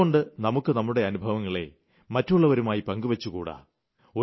എന്തുകൊണ്ട് നമുക്ക് നമ്മുടെ അനുഭവങ്ങളെ മറ്റുള്ളവരുമായി പങ്കുവെച്ചുകൂടാ